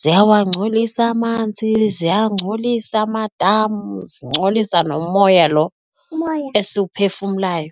ziyawangcolisa amanzi ziyangcolisa amadam zingcolisa nomoya lo, umoya esiwuphefumlayo.